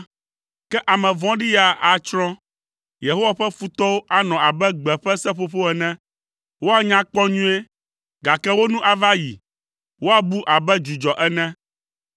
Ke ame vɔ̃ɖi ya atsrɔ̃. Yehowa ƒe futɔwo anɔ abe gbe ƒe seƒoƒo ene, woanya kpɔ nyuie, gake wo nu ava yi, woabu abe dzudzɔ ene.